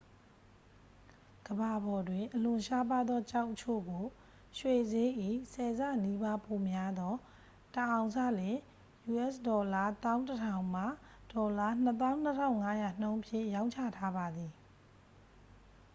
ကမ္ဘာပေါ်တွင်အလွန်ရှားပါးသောကျောက်အချို့ကို ရွှေစျေး၏ ဆယ်ဆနီးပါးပိုများသော တစ်အောင်စလျှင် us$၁၁,၀၀၀ မှ $၂၂,၅၀၀ နှုန်းဖြင့် ရောင်းချထားပါသည်။